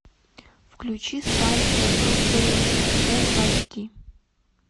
включи станция фрутвейл фул эйч ди